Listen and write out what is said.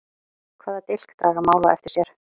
Hvaða dilk draga mál á eftir sér?